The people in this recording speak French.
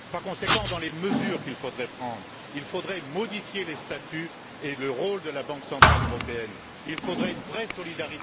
Par conséquent, dans les mesures qu'il faudrait prendre, il y a la modification des statuts et du rôle de la Banque centrale européenne. Il faudrait une vraie solidarité...